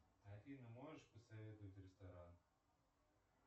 афина можешь посоветовать ресторан